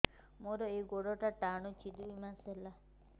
ମୋର ଏଇ ଗୋଡ଼ଟା ଟାଣୁଛି ଦୁଇ ମାସ ହେଲା